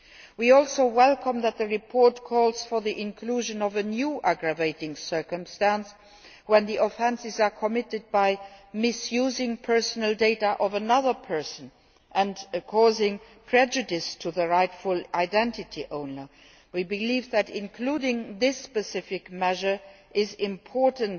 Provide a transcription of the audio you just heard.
We also welcome that the report calls for the inclusion of a new aggravating circumstance when the offences are committed by misusing personal data of another person and causing prejudice to the rightful identity owner. We believe that including this specific measure is important,